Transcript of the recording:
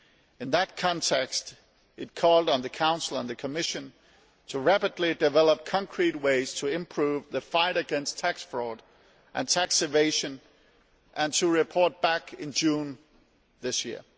In that context it called on the Council and the Commission to rapidly develop concrete ways to improve the fight against tax fraud and tax evasion and to report back in June this year.